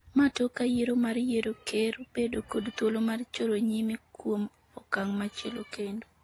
ma tok ka yiero mar yiero ker bedo kod thuolo mar choro nyime kuom okang' machielo kendo